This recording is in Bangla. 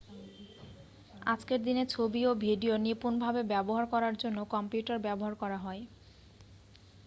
আজকের দিনে ছবি ও ভিডিও নিপূনভাবে ব্যবহার করার জন্য কম্পিউটার ব্যবহার করা হয়